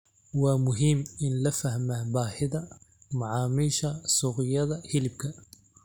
Waa muhiim in la fahmo baahida macaamiisha suuqyada hilibka.